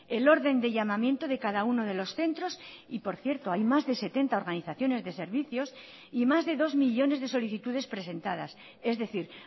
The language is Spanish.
el orden de llamamiento de cada uno de los centros y por cierto hay más de setenta organizaciones de servicios y más de dos millónes de solicitudespresentadas es decir